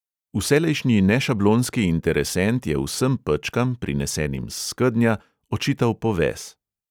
Vselejšnji nešablonski interesent je vsem pečkam, prinesenim s skednja, očital poves.